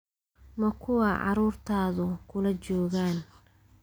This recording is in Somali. Ma kuwaa carruurtaadu kula joogaan?